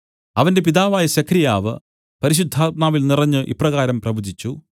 അവന്റെ പിതാവായ സെഖര്യാവ് പരിശുദ്ധാത്മാവിൽ നിറഞ്ഞ് ഇപ്രകാരം പ്രവചിച്ചു